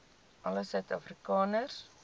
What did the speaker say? alle suid afrikaners